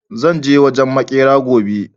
zan je wajen maƙera gobe